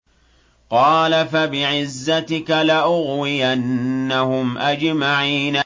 قَالَ فَبِعِزَّتِكَ لَأُغْوِيَنَّهُمْ أَجْمَعِينَ